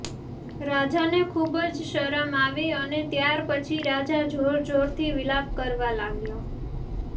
રાજાને ખુબ જ શરમ આવી અને ત્યાર પછી રાજા જોરજોરથી વિલાપ કરવા લાગ્યો